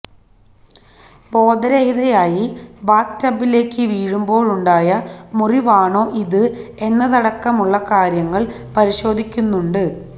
ബോധരഹിതയായി bath ടബിലേയ്ക്ക് വീഴുമ്പോളുണ്ടായ മുറിവാണോ ഇത് എന്നതടക്കമുള്ള കാര്യങ്ങള് പരിശോധിക്കുന്നുണ്ട്